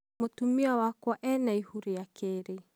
Mũtumia wakwa ena ihu rĩa keerĩ?